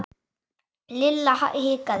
Lilla hikaði.